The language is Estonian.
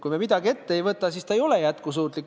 Kui me midagi ette ei võta, siis see ei ole jätkusuutlik.